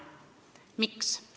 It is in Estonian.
Miks?